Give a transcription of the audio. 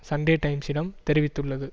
Sunday டைம்சிடம் தெரிவித்துள்ளது